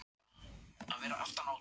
Kristján Már Unnarsson: Hvað dugar?